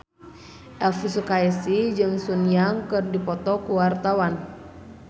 Elvi Sukaesih jeung Sun Yang keur dipoto ku wartawan